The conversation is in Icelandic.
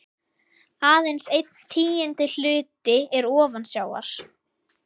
Aðeins einn tíundi hluti er ofan sjávar.